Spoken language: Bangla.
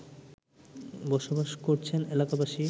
বসবাস করছেন এলাকাবাসী